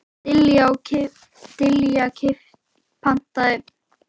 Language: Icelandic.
Dilja, pantaðu tíma í klippingu á fimmtudaginn.